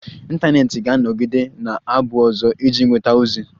Ịntanetị ga-anọgide na-abụ ụzọ iji nweta ozi.